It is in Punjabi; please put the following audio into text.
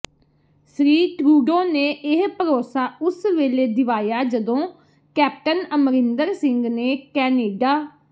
ਸ੍ਰੀ ਟਰੂਡੋ ਨੇ ਇਹ ਭਰੋਸਾ ਉਸ ਵੇਲੇ ਦਿਵਾਇਆ ਜਦੋਂ ਕੈਪਟਨ ਅਮਰਿੰਦਰ ਸਿੰਘ ਨੇ ਕੈਨੇਡਾ